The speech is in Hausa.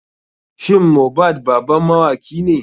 Shin mohbad baban mawakine?